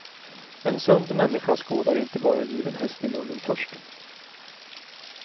En sund människa skådar inte bara given häst i munnen först.